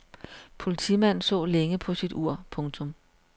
Politimanden så længe på sit ur. punktum